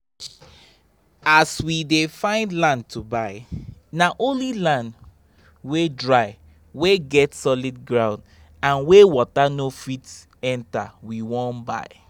as we dey find land to buy na only land wey dry wey get solid ground and wey water no fit enter we won buy.